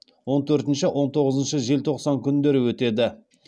он төртінші он тоғызыншы желтоқсан күндері өтеді